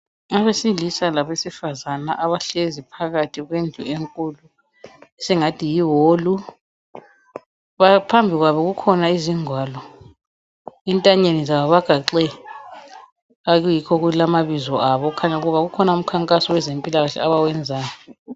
Abesilisa labesifazane abahlezi phakathi kwendlu enkulu esingathi yiholu phambili kwabo kukhona izingwalo entanyeni zabo bagaxe okuyikho okulamabizo abo kukhanya ukuba kukhona umkhankaso wezempilakahle abawenzayo.